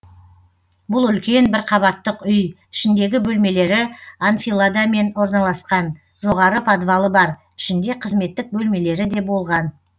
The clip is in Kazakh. бұл үлкен бір қабаттық үй ішіндегі бөлмелері анфиладамен орналасқан жоғары подвалы бар ішінде қызметтік бөлмелері де болған